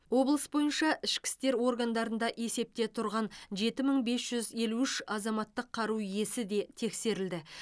облыс бойынша ішкі істер органдарында есепте тұрған жеті мың бес жүз елу үш азаматтық қару иесі де тексерілді